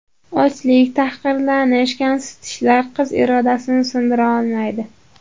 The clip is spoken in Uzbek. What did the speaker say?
Ochlik, tahqirlanish va kamsitishlar qiz irodasini sindira olmaydi.